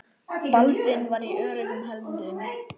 Baldvin var í öruggum höndum.